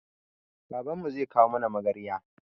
Babanmu zai kawo mana magarya